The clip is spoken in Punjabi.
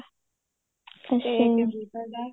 ਤੇ computer ਦਾ